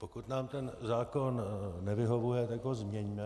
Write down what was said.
Pokud nám ten zákon nevyhovuje, tak ho změňme.